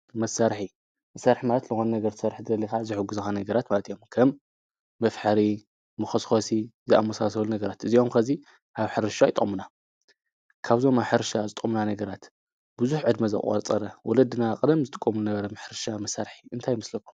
መሣርሒ መሠርሕ ማት ሎዋን ነገርሠርሕ ደሊኻ ዝሕጕዝኻ ነገራት ማልቲ ዮምከም ምፍሐሪ ምኸስኮሲ ዝኣሙሳሰወሉ ነገራት እዚምከዚይ ኣብ ሕርሻ ኣይቖምና ካብዞም ኣሕርሻ ዝጠምና ነገራት ብዙኅ ዕድሚ ዘቛጸረ ውለድና ቕደም ዝጥቆምሉ ነበረ ምሕርሻ መሣርሒ እንታይምስለኹ።